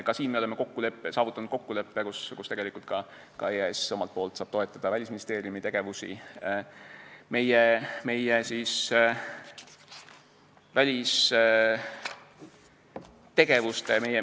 Ka siin me oleme saavutanud kokkuleppe, et EAS omalt poolt saaks toetada Välisministeeriumi tegevust.